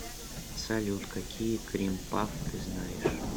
салют какие крим пафф ты знаешь